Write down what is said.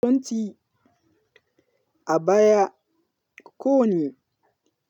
Kasuwanci a baya ko ne,